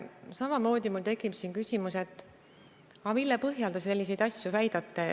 Siin tekib mul samamoodi küsimus, et mille põhjal te selliseid asju väidate.